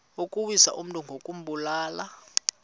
ukuwisa umntu ngokumbulala